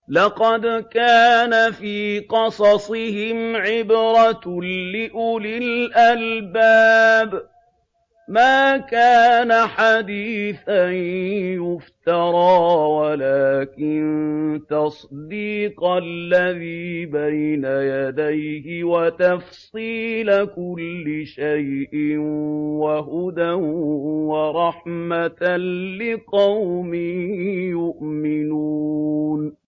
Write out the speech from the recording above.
لَقَدْ كَانَ فِي قَصَصِهِمْ عِبْرَةٌ لِّأُولِي الْأَلْبَابِ ۗ مَا كَانَ حَدِيثًا يُفْتَرَىٰ وَلَٰكِن تَصْدِيقَ الَّذِي بَيْنَ يَدَيْهِ وَتَفْصِيلَ كُلِّ شَيْءٍ وَهُدًى وَرَحْمَةً لِّقَوْمٍ يُؤْمِنُونَ